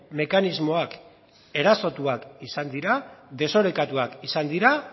mekanismoak erasotuak izan dira desorekatuak izan dira